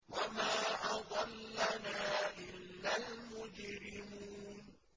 وَمَا أَضَلَّنَا إِلَّا الْمُجْرِمُونَ